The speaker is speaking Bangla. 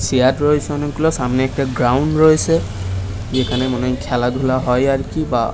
চেয়ার রয়েছে অনেকগুলো সামনে একটা গ্রাউন্ড রয়েছে এখানে খেলা ধুলা হয় আরকি বা ।